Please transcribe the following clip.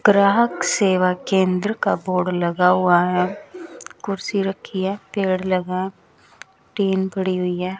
ग्राहक सेवा केंद्र का बोर्ड लगा हुआ है कुर्सी रखी है पेड़ लगा है टीन पड़ी हुई है।